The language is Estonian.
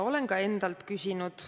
Olen seda ka endalt küsinud.